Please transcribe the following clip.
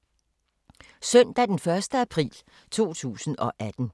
Søndag d. 1. april 2018